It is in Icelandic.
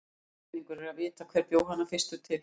Ógerningur er að vita hver bjó hana fyrstur til.